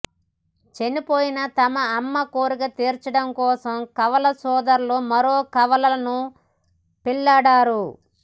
చనిపోయిన తమ అమ్మ కోరిక తీర్చడం కోసం కవల సోదరులు మరో కవలలను పెళ్లాడారు